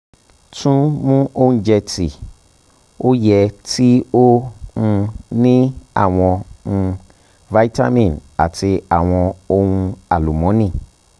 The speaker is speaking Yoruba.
tun mu ounjẹ ti o yẹ ti o um ni awọn um vitamin ati awọn ohun alumọni